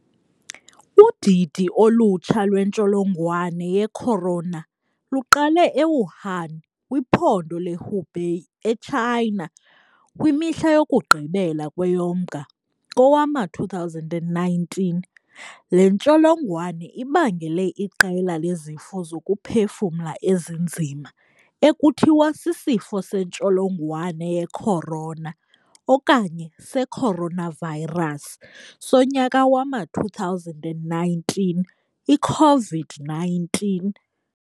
Udidi olutsha lwentsholongwane yecorona luqale eWuhan, kwiphondo leHubei, eChina, kwimihla yokugqibela kweyoMnga kowama-2019. Le ntsholongwane ibangele iqela lezifo zokuphefumla ezinzima, ekuthiwa sisifo sentsholongwane yecorona okanye secoronavirus sonyaka wama-2019 i-COVID-19.